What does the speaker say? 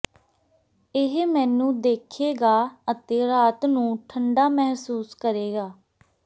ਇਹ ਮੈਨੂੰ ਦੇਖੇਗਾ ਅਤੇ ਰਾਤ ਨੂੰ ਠੰਡਾ ਮਹਿਸੂਸ ਕਰੇਗਾ